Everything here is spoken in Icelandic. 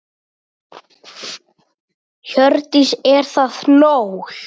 Hjördís: Er það nóg?